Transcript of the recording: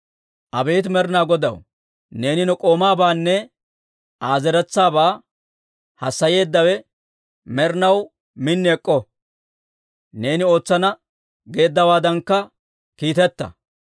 «Abeet Med'inaa Godaw, neeni ne k'oomaabaanne Aa zeretsaabaa haasayeeddawe med'inaw min ek'k'o; neeni ootsana geeddawaadankka kiiteta.